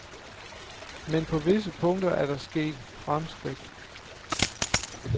Men på visse punkter er der sket fremskridt.